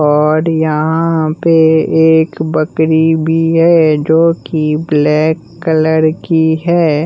और यहां पे एक बकरी भी है जो की ब्लैक कलर की है।